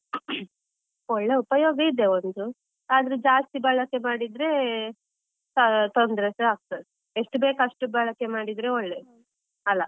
ಒಳ್ಳೆ ಉಪಯೋಗ ಇದೆ ಒಂದು, ಆದ್ರೆ ಜಾಸ್ತಿ ಬಳಕೆ ಮಾಡಿದ್ರೆ ತೊಂದ್ರೆಸ ಆಗ್ತದೆ, ಎಷ್ಟು ಬೇಕೋ ಅಷ್ಟು ಬಳಕೆ ಮಾಡಿದ್ರೆ ಒಳ್ಳೇದು ಅಲ.